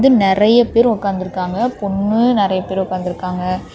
இங்க நறைய பேரு ஒக்காந்து இருக்காங்க பொண்ணு நறைய பேர் உக்காந்துருக்காங்க.